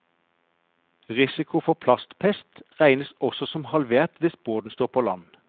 Risikoen for plastpest regnes også som halvert hvis båten står på land.